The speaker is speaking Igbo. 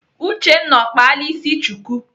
Uchenna ọ kpala ịsị chuku?